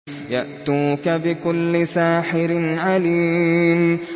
يَأْتُوكَ بِكُلِّ سَاحِرٍ عَلِيمٍ